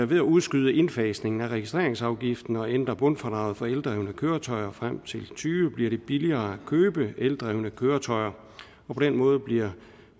ved at udskyde indfasningen af registreringsafgiften og ændre bundfradraget for eldrevne køretøjer frem til og tyve bliver det billigere at købe eldrevne køretøjer og på den måde bliver